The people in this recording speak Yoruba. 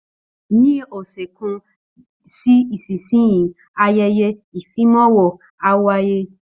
Ní ọ̀sẹ̀ kan sí ìsinsìnyí, ayẹyẹ ìfimawo á wáyé